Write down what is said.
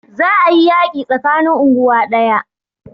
Za a yi yaƙi tsakanin unguwa ɗaya